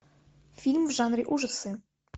фильм в жанре ужасы